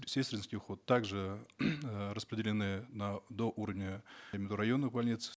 сестринский уход также распределены на до уровня районных больниц